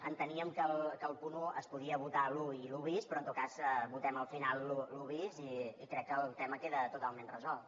enteníem que al punt un es podia votar l’un i l’un bis però en tot cas votem al final l’un bis i crec que el tema queda totalment resolt